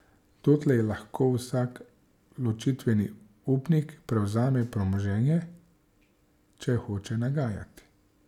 Dotlej lahko vsak ločitveni upnik prevzame premoženje, če hoče nagajati.